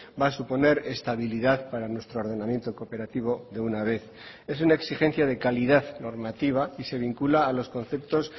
va a suponer estabilidad para nuestro ordenamiento cooperativo de una vez es una exigencia de calidad normativa y se vincula a los conceptos